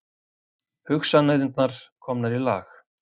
Hugsanirnar komnar í lag.